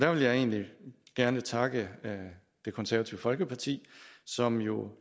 vil egentlig gerne takke det konservative folkeparti som jo